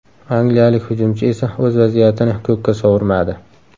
Angliyalik hujumchi esa o‘z vaziyatini ko‘kka sovurmadi.